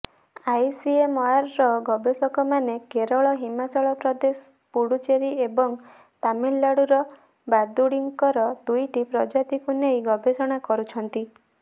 ଆଇସିଏମଆରର ଗବେଷକମାନେ କେରଳ ହିମାଚଳ ପ୍ରଦେଶ ପୁଡୁଚେରୀ ଏବଂ ତାମିଲନାଡୁର ବାଦୁଡିଙ୍କର ଦୁଇଟି ପ୍ରଜାତିକୁ ନେଇ ଗବେଷଣା କରୁଛନ୍ତି